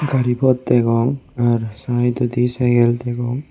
gari phot degong ar saidodi cykel degong.